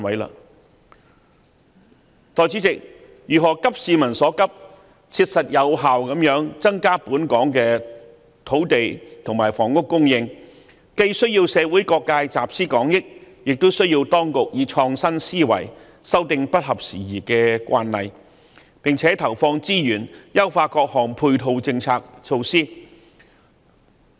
代理主席，如何急市民所急，切實有效地增加本港土地和房屋供應，既需要社會各界集思廣益，也需要當局以創新思維修訂不合時宜的慣例，並且投放資源，優化各項配套政策措施。